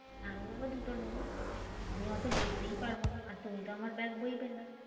আমি বাবা দুটো নেবো। আমি অত বইতেই পারবোনা, আর তুমি তো আমার ব্যাগ বইবে না।